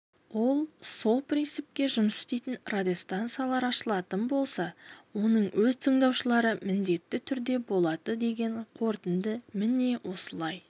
ол сол принципте жұмыс істейтін радиостанциялар ашылатын болса оның өз тыңдаушылары міндетті түрде болады деген қорытынды міне осылай